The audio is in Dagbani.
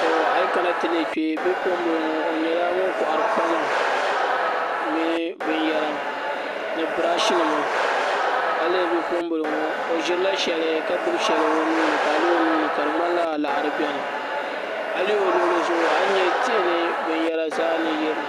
Tɔɔ ayi kana ti lihi kpɛ bipuɣin bili ŋɔ o yɛla ŋuni kɔhiri kpama mini bi nyara ni brashi nima a yi lihi bipuɣun bili ŋɔ o zirila shɛli ka gbubi shɛli o nuu ni ka a lihi o nuuni ka di ŋmanila liɣiri bɛni a yi lihi o luɣili zuɣu a ni yɛ tihi ni bini yara zaa ni yirina.